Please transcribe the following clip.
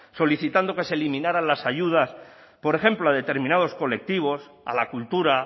solicitando que se eliminaran las ayudas por ejemplo a determinados colectivos a la cultura